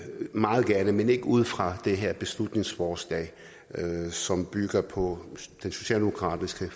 meget gerne men ikke ud fra det her beslutningsforslag som bygger på den socialdemokratiske